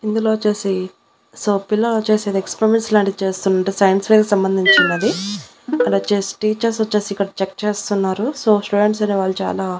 ఇందులో వచ్చేసి సో పిల్లలొచ్చేసి ఏదో ఎక్స్పెరిమెంట్స్ లాంటివి చేస్తున్నారు సైన్స్ ఫెయిర్ కి సంబంధించినది ఇక్కడొచ్చేసి టీచర్స్ వచ్చేసి ఇక్కడ చెక్ చేస్తున్నారు. సో స్టూడెంట్స్ అనేవాళ్ళు చాలా --